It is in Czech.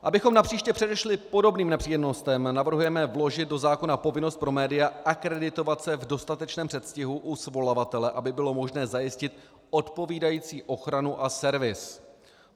Abychom napříště předešli podobným nepříjemnostem, navrhujeme vložit do zákona povinnost pro média akreditovat se v dostatečném předstihu u svolavatele, aby bylo možné zajistit odpovídající ochranu a servis.